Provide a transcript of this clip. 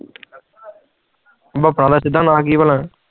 ਭਾਪਣਾ ਦਾ ਸਿੱਧਾ ਨਾਮ ਕਿ ਆ ਭਲਕ